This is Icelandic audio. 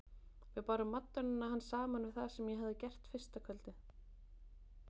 Við bárum madonnuna hans saman við það sem ég hafði gert fyrsta kvöldið.